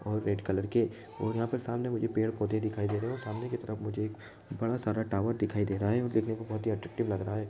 और red colour के और सामने मुझे बहुत सारे पेड़- पौधे दिखाई दे रहे है और सामने मुझे एक टावर दिखाई दे रहा है और देखने में बहुत ही अट्रैक्टिव लग रहा है।